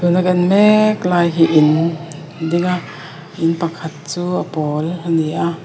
tuna kan en mek lai hi in a ding a in pakhat chu a pawl ani a.